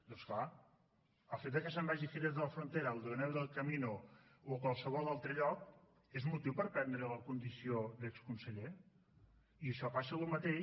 doncs clar el fet de que se’n vagi a jerez de la frontera a aldeanueva del camino o a qualsevol altre lloc és motiu per perdre la condició d’exconseller i això passa el mateix